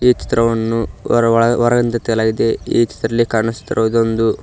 ಈ ಚಿತ್ರವನ್ನು ಹೊರ ಒಳ ಹೊರಯಿಂದ ತೆಗೆಯಲಾಗಿದೆ ಈ ಚಿತ್ರದಲ್ಲಿ ಕಾಣಿಸುತ್ತಿರುವುದೊಂದು.